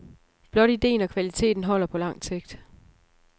Blot ideen og kvaliteten holder på langt sigt.